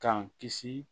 K'an kisi